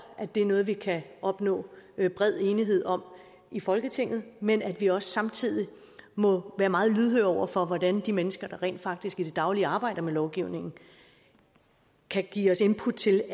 det er noget vi kan opnå bred enighed om i folketinget men at vi også samtidig må være meget lydhøre over for hvordan de mennesker der rent faktisk i det daglige arbejder med lovgivningen kan give os input til